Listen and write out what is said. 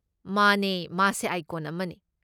ꯃꯥꯅꯦ, ꯃꯥꯁꯦ ꯑꯥꯏꯀꯣꯟ ꯑꯃꯅꯦ꯫